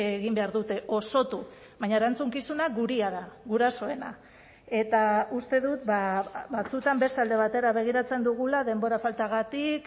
egin behar dute osotu baina erantzukizuna gurea da gurasoena eta uste dut batzuetan beste alde batera begiratzen dugula denbora faltagatik